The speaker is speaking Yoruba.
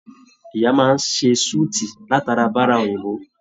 Ìyá máa n se sùútí latara bára òyìnbó